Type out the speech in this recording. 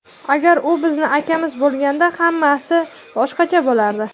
Agar u bizni akamiz bo‘lganida hammasi boshqacha bo‘lardi.